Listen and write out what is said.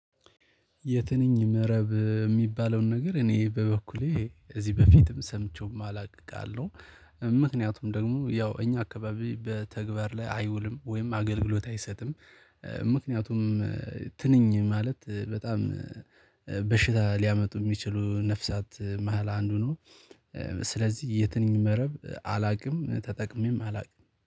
የትንኝ መረብ የሚባለውን ነገር እኔ በበኩሌ እዚህ በፊትም ሰምቼውም ማላውቅ ቃል ነው። ምክንያቱም ደግሞ ያው እኛ አካባቢ በተግባር ላይ አይውልም ወይም አገልግሎት አይሰጥም። ምክንያቱም ትንኝ ማለት በጣም በሽታ ሊያመጡ የሚችሉ ነፍሳት መሃል አንዱ ነው። ስለዚህ የትንኝ መረብ አላውቅም ተጠቅሜም አላውቅም